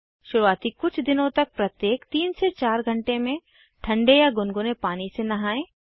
शुरूआती कुछ दिनों तक प्रत्येक 3 से 4 घंटे में ठन्डे या गुनगुने पानी से नहाएं